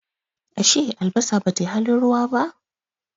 Ashe albasa Bata yi halin ruwa ba?